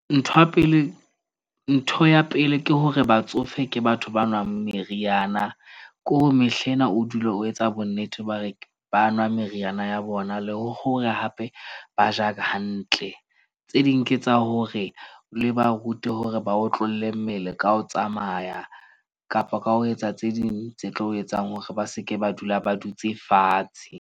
Ntho ya pele ke hore batsofe ke batho ba nwang meriana. Ke hore mehla ena, o dule o etsa bo nnete ba re ba nwa meriana ya bona, le hore hape ba ja hantle. Tse ding ke tsa hore le ba rute hore ba otlolle mmele ka ho tsamaya kapa ka ho etsa tse ding tse tlo etsang hore ba seke ba dula ba dutse fatshe.